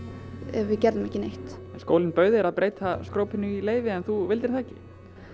ef við gerum ekki neitt skólinn bauð þér að breyta í leyfi en þú vildir það ekki